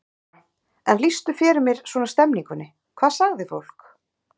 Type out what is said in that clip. Þóra: En lýstu fyrir mér svona stemmingunni, hvað sagði fólk?